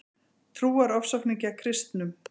Trúarofsóknir gegn kristnum